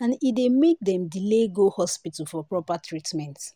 and e dey make dem delay go hospital for proper treatment."